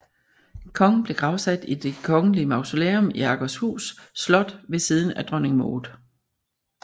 Kongen blev gravsat i Det Kongelige Mausoleum i Akershus Slot ved siden af Dronning Maud